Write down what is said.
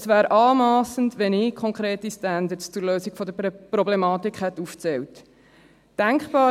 Es wäre anmassend, wenn ich konkrete Standards zur Lösung der Problematik aufgezählt hätte.